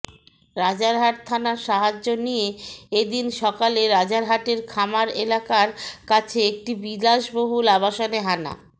রাজারহাট থানার সাহায্য নিয়ে এ দিন সকালে রাজারহাটের খামার এলাকার কাছে একটি বিলাসবহুল আবাসনে হানা